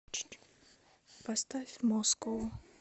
поставь москоу